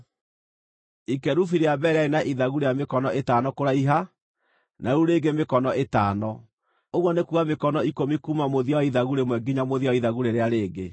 Ikerubi rĩa mbere rĩarĩ na ithagu rĩa mĩkono ĩtano kũraiha, na rĩu rĩngĩ mĩkono ĩtano; ũguo nĩ kuuga mĩkono ikũmi kuuma mũthia wa ithagu rĩmwe nginya mũthia wa ithagu rĩrĩa rĩngĩ.